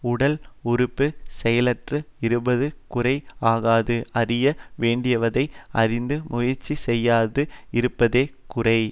உடல் உறுப்பு செயலற்று இருப்பது குறை ஆகாது அறிய வேண்டியவதை அறிந்து முயற்சி செய்யாது இருப்பதே குறை